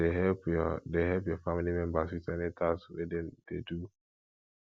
you dey help your dey help your family members with any task wey dem dey do